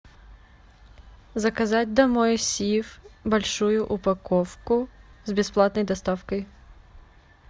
заказать домой сиф большую упаковку с бесплатной доставкой